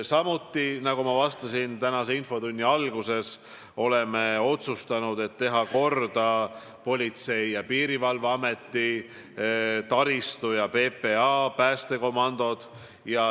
Samuti, nagu ma vastasin tänase infotunni alguses, oleme otsustanud teha korda Politsei- ja Piirivalveameti taristu ning PPA päästekomandod.